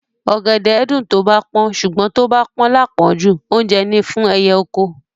Ọ̀gẹ̀dẹ̀ ẹ́ dùn tó bá pọ́n, ṣùgbọ́n tó bá pọ́n láàpọ́njù, oúnjẹ ni fún ẹyẹ oko.